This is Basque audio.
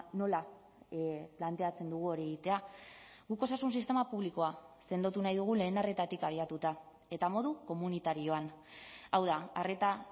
nola planteatzen dugu hori egitea guk osasun sistema publikoa sendotu nahi dugu lehen arretatik abiatuta eta modu komunitarioan hau da arreta